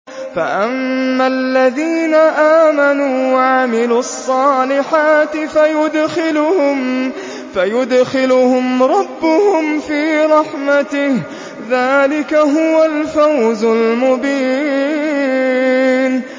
فَأَمَّا الَّذِينَ آمَنُوا وَعَمِلُوا الصَّالِحَاتِ فَيُدْخِلُهُمْ رَبُّهُمْ فِي رَحْمَتِهِ ۚ ذَٰلِكَ هُوَ الْفَوْزُ الْمُبِينُ